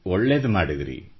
ಒಳ್ಳೇದು ಮಾಡಿದ್ದೀರಿ